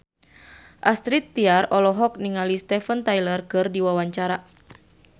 Astrid Tiar olohok ningali Steven Tyler keur diwawancara